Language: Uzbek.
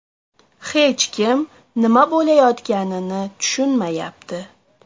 Hech kim nima bo‘layotganini tushunmayapti.